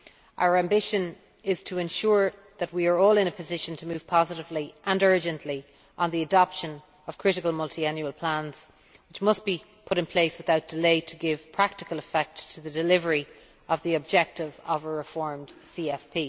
Our ambition is to ensure that we are all in a position to move positively and urgently on the adoption of critical Multiannual Plans which must be put in place without delay to give practical effect to the delivery of the objective of a reformed CFP.